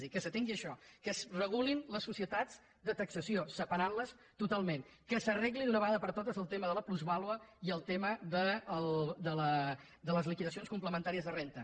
és a dir que s’atengui això que es regulin les societats de taxació separant les totalment que s’arreglin d’una vegada per totes el tema de la plusvàlua i el tema de les liquidacions complementàries de renda